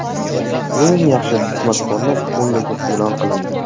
Eng yaxshi smartfonlar o‘nligi e’lon qilindi.